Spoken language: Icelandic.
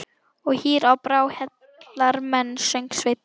Og hýr á brá og heillar menn, söng Sveinn.